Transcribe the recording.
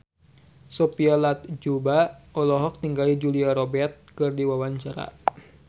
Sophia Latjuba olohok ningali Julia Robert keur diwawancara